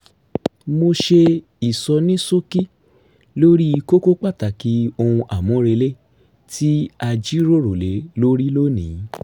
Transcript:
mo ṣe ìsonísókí lórí kókó pàtàkì ohun àmúrelé tí a jíròrò lé lórí lónìí